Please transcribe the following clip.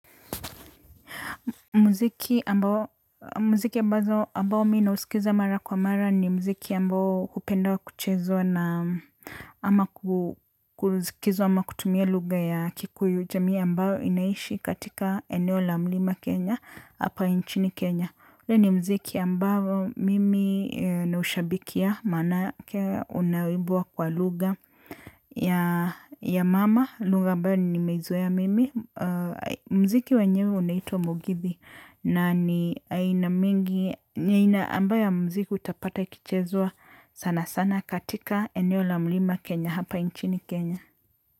Muziki ambao mi nausikiza mara kwa mara ni muziki ambao hupenda kuchezwa na ama kusikizwa ama kutumia lugha ya kikuyu, jamii ambayo inaishi katika eneo la mlima Kenya hapa nchini Kenya. Ule ni muziki ambao mimi naushabikia maanake unaimbwa kwa lugha ya mama, lugha ambayo nimeizoea mimi. Muziki wenyewe unaitwa mugithi na ni aina mingi ambayo ya muziki utapata ikichezwa sana sana katika eneo la mlima Kenya hapa nchini Kenya.